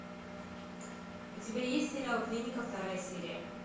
у тебя есть сериал клиника вторая серия